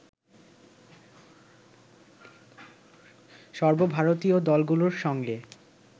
সর্বভারতীয় দলগুলোর সঙ্গে